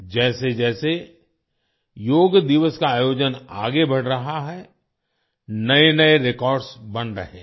जैसे जैसे योग दिवस का आयोजन आगे बढ़ रहा है नए नए रेकॉर्ड्स बन रहे हैं